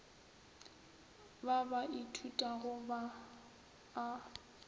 ba ba ithutago ba a